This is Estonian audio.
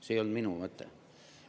See ei olnud minu mõte.